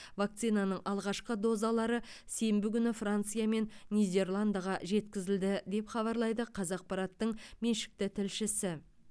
вакцинаның алғашқы дозалары сенбі күні франция мен нидерландыға жеткізілді деп хабарлайды қазақпараттың меншікті тілшісі